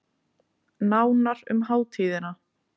Nánar um hátíðina